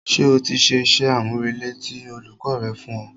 Ṣé o ti ṣe iṣẹ́-àmúrelé tí olùkọ́ rẹ fún ọ?